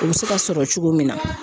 U bɛ se ka sɔrɔ cogo min na